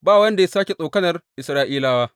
Ba wanda ya sāke tsokanar Isra’ilawa.